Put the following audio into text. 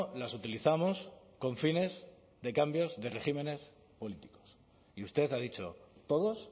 las utilizamos con fines de cambios de regímenes políticos y usted ha dicho todos